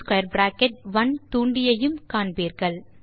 In1 தூண்டியையும் காண்பீர்கள்